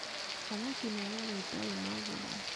Thamaki nĩ nyamũ ĩtarĩ magũrũ.